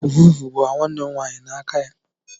Ọvụvụ gbara nwanne m nwaanyị n'aka ya.